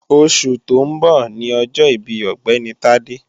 Oṣù tó ń bọ̀ ni ọjọ́ ìbí Ọ̀gbẹ́ni Tádé